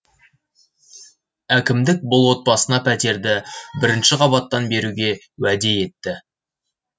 әкімдік бұл отбасына пәтерді бірінші қабаттан беруге уәде етті